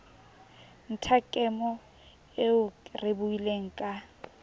nthakemo eo re buileng ka